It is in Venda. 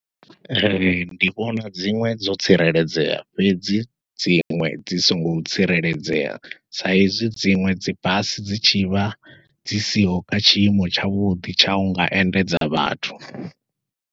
Ee ndi vhona dziṅwe dzo tsireledzea fhedzi dziṅwe dzi songo tsireledzea, sa ezwi dziṅwe dzi basi dzi tshivha dzi siho kha tshiimo tshavhuḓi tsha unga endedza vhathu.